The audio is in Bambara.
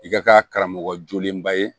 I ka kɛ karamɔgɔ jolenba ye